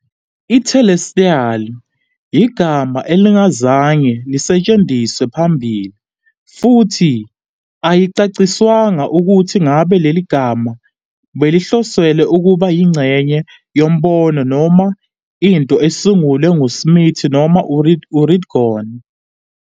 I- "Telestial" yigama elingazange lisetshenziswe phambilini, futhi ayicaciswanga ukuthi ngabe leli gama belihloselwe ukuba yingxenye yombono noma into esungulwe nguSmith noma uRigdon.